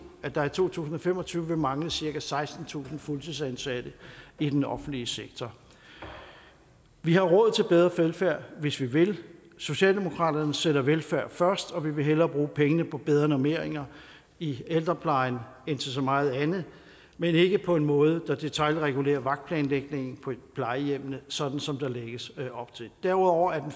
at der i to tusind og fem og tyve vil mangle cirka sekstentusind fuldtidsansatte i den offentlige sektor vi har råd til bedre velfærd hvis vi vil socialdemokratiet sætter velfærd først og vi vil hellere bruge pengene på bedre normeringer i ældreplejen end til så meget andet men ikke på en måde der detailregulerer vagtplanlægningen på plejehjemmene sådan som der lægges op til derudover er den